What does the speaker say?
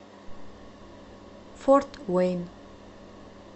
форт уэйн